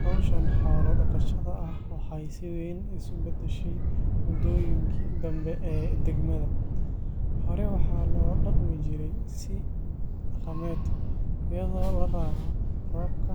Hawshan xoolo-dhaqashada ah waxay si weyn isu beddeshay muddooyinkii dambe ee degmada. Hore waxaa loo dhaqmi jiray si dhaqameed, iyadoo la raaco roobka,